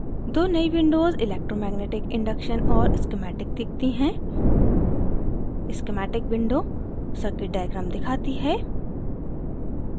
दो नई windows electromagnetic induction और schematic दिखती हैं